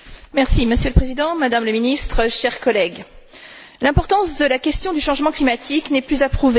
Monsieur le Président, Madame la Ministre, chers collègues, l'importance de la question du changement climatique n'est plus à prouver.